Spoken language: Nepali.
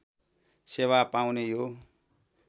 सेवा पाउने यो